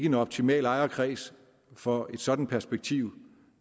en optimal ejerkreds for et sådant perspektiv